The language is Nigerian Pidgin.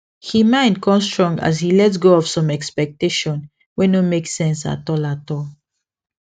he mind con strong as he let go some of expectation wey no make sense at all at all